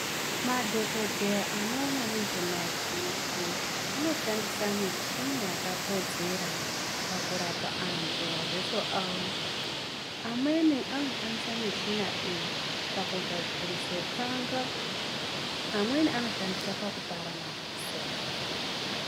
Madhogodheya anoona nezvemadziso anoshandisa mishina yakakodzera pakurapa antu madziso avo. Amweni anoshandisa mushina iyi pakugadzirise tsanga, amweni anoshandisa pakupara madziso.